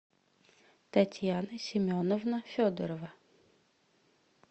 татьяна семеновна федорова